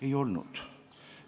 Ei olnud.